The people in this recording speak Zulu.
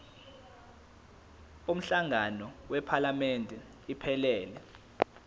umhlangano wephalamende iphelele